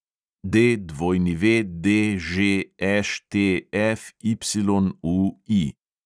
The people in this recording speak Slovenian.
DWDŽŠTFYUI